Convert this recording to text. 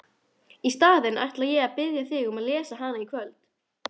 Í staðinn ætla ég að biðja þig að lesa hana í kvöld!